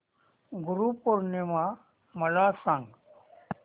गुरु पौर्णिमा मला सांग